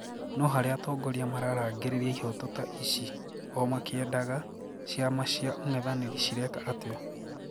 Noo haria atongoria mararangiriria ihoto ta ici oo makiendaga, ciama cia ung'ethaniri cireeka atoa?